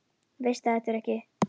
Veist að það ertu ekki.